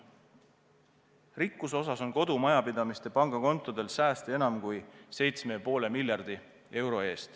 Mis puutub rikkusse, siis kodumajapidamiste pangakontodel on sääste enam kui 7,5 miljardi ulatuses.